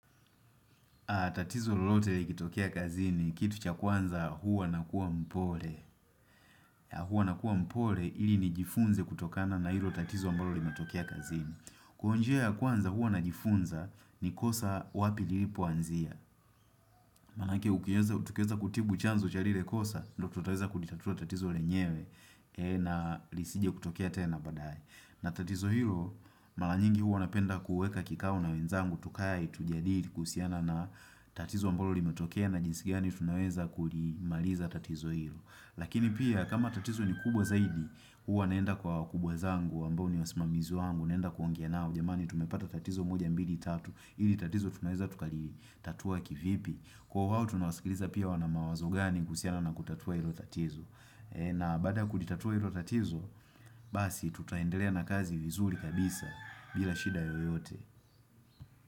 Tatizo lolote likitokea kazini, kitu cha kwanza huwa nakua mpole. Huwa nakua mpole ili nijifunze kutokana na hilo tatizo ambalo limetokea kazini. Kwa njia ya kwanza huwa najifunza ni kosa wapi lilipoanzia. Maanake ukiweza tukiweza kutibu chanzo cha lile kosa, ndio tutaweza kulitatua tatizo lenyewe na lisije kutokea tena baadaye. Na tatizo hilo, mara nyingi huwa napenda kuweka kikao na wenzangu, tukae tujadili kuhusiana na tatizo ambalo limetokea na jinsi gani tunaweza kulimaliza tatizo hilo. Lakini pia, kama tatizo ni kubwa zaidi, huwa naenda kwa wakubwa zangu ambao ni wasimamizi wangu, naenda kuongea nao jamani, tumepata tatizo moja mbili tatu, hili tatizo tunaweza tukalitatua kivipi. Kwa wawo, tunawasikiliza pia wana mawazo gani kuhusiana na kutatua hilo tatizo. Na baada la kulitatua hilo tatizo, basi tutaendelea na kazi vizuri kabisa bila shida yoyote.